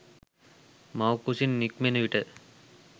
මව් කුසින් නික්මෙන විට